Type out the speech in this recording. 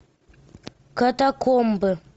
катакомбы